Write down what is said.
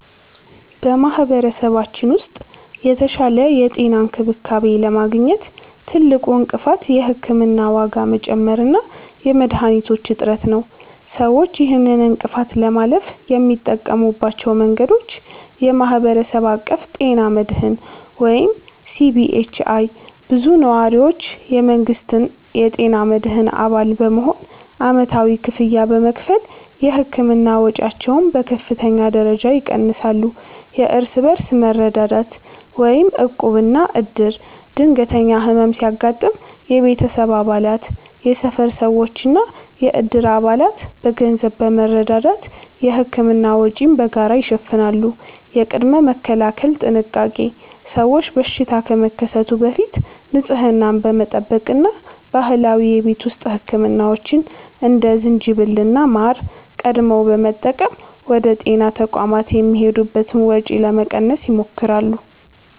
በማኅበረሰባችን ውስጥ የተሻለ የጤና እንክብካቤ ለማግኘት ትልቁ እንቅፋት የሕክምና ዋጋ መጨመር እና የመድኃኒቶች እጥረት ነው። ሰዎች ይህንን እንቅፋት ለማለፍ የሚጠቀሙባቸው መንገዶች፦ የማኅበረሰብ አቀፍ ጤና መድህን (CBHI)፦ ብዙ ነዋሪዎች የመንግሥትን የጤና መድህን አባል በመሆን ዓመታዊ ክፍያ በመክፈል የሕክምና ወጪያቸውን በከፍተኛ ደረጃ ይቀንሳሉ። የእርስ በርስ መረዳዳት (ዕቁብና ዕድር)፦ ድንገተኛ ሕመም ሲያጋጥም የቤተሰብ አባላት፣ የሰፈር ሰዎችና የዕድር አባላት በገንዘብ በመረዳዳት የሕክምና ወጪን በጋራ ይሸፍናሉ። የቅድመ-መከላከል ጥንቃቄ፦ ሰዎች በሽታ ከመከሰቱ በፊት ንጽህናን በመጠበቅ እና ባህላዊ የቤት ውስጥ ሕክምናዎችን (እንደ ዝንጅብልና ማር) ቀድመው በመጠቀም ወደ ጤና ተቋማት የሚሄዱበትን ወጪ ለመቀነስ ይሞክራሉ።